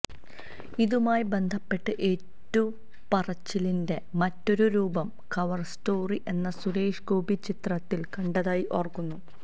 ഇതുമായി ബന്ധപ്പെട്ട് ഏറ്റുപറച്ചിലിന്റെ മറ്റൊരു രൂപം കവര് സ്റ്റോാറി എന്ന സുരേഷ് ഗോപി ചിത്രത്തില് കണ്ടതായി ഓര്ക്കുന്നു